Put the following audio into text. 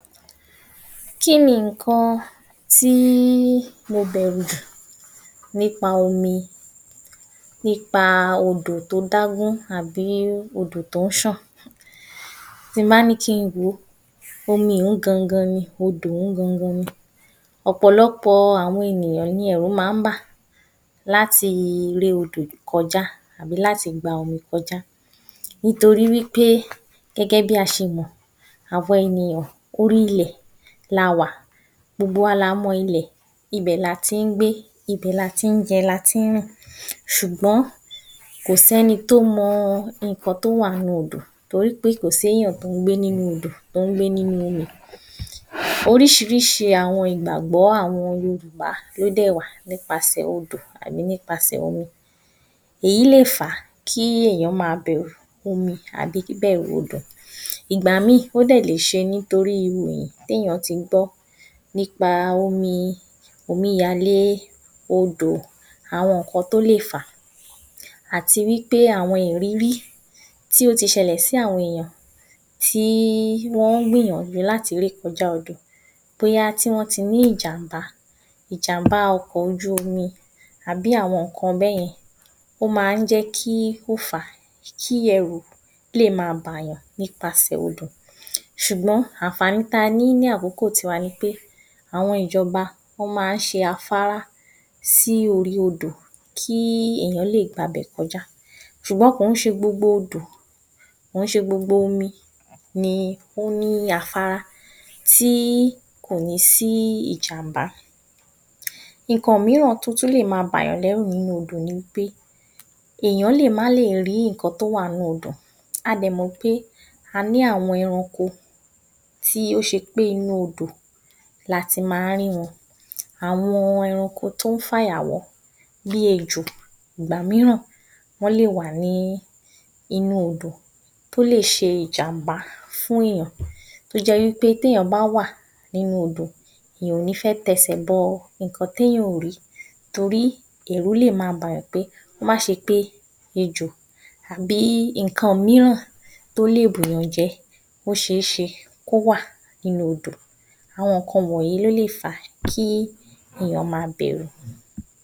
Kíni ǹkan tí mo bẹ̀rù jù nípa omi, nípa odò tó dá gún àbí odò tó ń ṣàn? Tí ń bá ní kin wòó omiì ún gangan ni, ọdò ún gangan ni. Òpòlọpò àwọn ènìyàn ni ẹ̀rù ma ń bà láti ré odò kọjá àbí láti gba omi kọjá nítorí wípé gẹ́gẹ́ bí a ṣe mọ̀, àwa ènìyàn orí ilẹ̀ la wà, gbogbo wa la mọ ilẹ̀, ibẹ̀ la ti ń gbé, ibẹ̀ la ti ń jẹ, láti ń rìn, ṣùgbọ́n kò ṣ'ẹ́ni tó mọ ǹkan tó wà nínú odò torí pé kò s’éyàn tó ń gbé nínu odò, tó ń gbé nínu omi Oríṣiríṣi àwọn ìgbàgbọ́ àwọn Yorùbá ló dẹ́ wá nípasẹ̀ odò, à ní nípasẹ̀ omi. Èyí lè fàá kí èyán ma bẹ̀rù omi àbí bíbẹ̀rù omi. Ìgbà míì ó dẹ̀ lè ṣe nítorí ìròyìn, t’éyàn ti gbó nípa omi, omí yalẹ́, odò, àwọn ǹkan tó lè fàá àti wípé àwon ìrírí, tí o ti ṣẹlẹ̀ sí àwọn ènìyàn tí wọ́n gbìyànjú láti ré kọjá odò, bóyá tí wọ́n ti rí ìjàmbá, ìjàmbá ọkọ̀ ojú omi, àbí àwọn ǹkan bẹ́yẹn, ó ma ń jẹ́kí ó fàá, kí ẹrú léè ma bà yàn nípasẹ̀ odò ṣùgbọ́n ànfàní tí a ní ní àkókò ti wa ni pé àwọn ìjọba, wọ́n ma ń se afárá sí orí odò, kí ènìyàn le gba'bẹ̀ kọjá, ṣùgbọ́n kò kín ṣe gbogbo odò, kò kín ṣe gbogbo omi ni ó ní afárá tí kò ní sí ìjàmbá. Ǹkan míràn tó tún lè ma bà yàn lẹ́rù níbi odò ni wípé, èyán lè má le rí ǹkan tó wà nínu odò, a dẹ̀ mọ̀ wípé a ní àwọn ẹranko tó ṣe pé inú odò lati má ń rí wọn. Àwọn ẹranko tó ń fàyà wọ́, bí ejò, ìgbà míràn, wọ́n lè wà nínu odò, tó lè ṣe ìjàmbá fún èyàn. Tó jẹ́ wípé t’éyàn bá wà nínú odò, èyàn ò ní fẹ́ t’ẹsẹ̀ bọ, ǹkan tí èyàn ò rí torí ẹ̀rú léè ma bà yàn pé kó má se pé ejò àbí ǹkan míràn, tó lè bù yàn jẹ, ó ṣe é ṣe kó wà nínú odò. Àwọn ǹkan wọ̀nyí ló lè fàá kí èyán ma b’ẹ̀rù.